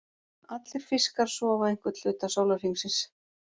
Allir fiskar sofa einhvern hluta sólarhringsins.